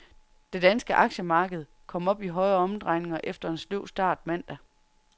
Det danske aktiemarked kom op i højere omdrejninger efter en sløv start mandag.